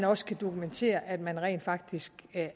også kan dokumentere at man rent faktisk